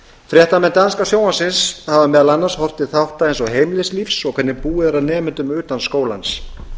fréttamenn danska sjónvarpsins hafa meðal annars horft til þátta eins og heimilislífs og hvernig búið er að nemendum utan skólans